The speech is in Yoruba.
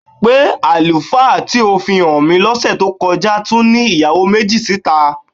Pé àlùfáà tí ó fi hàn mí lọ́sẹ̀ tó kọ́já tún ní ìyàwó méjì síta?